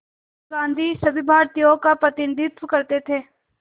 गांधी सभी भारतीयों का प्रतिनिधित्व करते थे